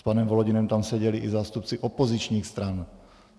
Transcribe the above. S panem Volodinem tam seděli i zástupci opozičních stran.